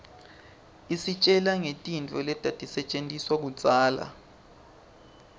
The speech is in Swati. isitjela ngetintfo letatisetjentiswa kudzala